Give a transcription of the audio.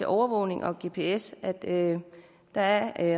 overvågning og gps der